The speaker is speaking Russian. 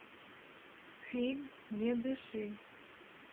фильм не дыши